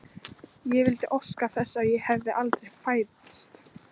Ég vildi óska þess að ég hefði aldrei fæðst.